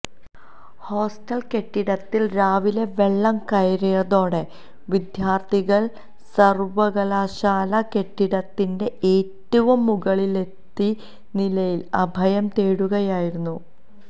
hostel കെട്ടിടത്തില് രാവിലെ വെള്ളം കയറിയതോടെ വിദ്യാര്ത്ഥികള് സര്വകലാശാല കെട്ടിടത്തിന്റെ ഏറ്റവും മുകളിലത്തെ നിലയില് അഭയം തേടുകയായിരുന്നു